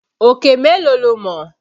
Òkè mélòó lo mọ̀?